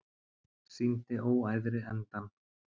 Sýndi óæðri endann